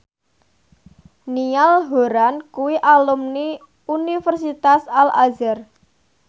Niall Horran kuwi alumni Universitas Al Azhar